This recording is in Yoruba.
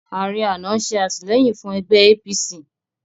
Ààrẹ àná ń ṣe àtìlẹ́yìn fún ẹgbẹ́ APC